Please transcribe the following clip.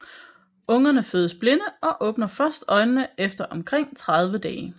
Ungerne fødes blinde og åbner først øjnene efter omkring 30 dage